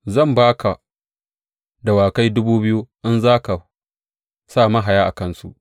Zan ba ka dawakai dubu biyu, in za ka sa mahaya a kansu!